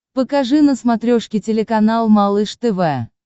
покажи на смотрешке телеканал малыш тв